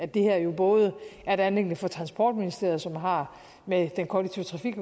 det her jo både er et anliggende for transportministeriet som har med den kollektive trafik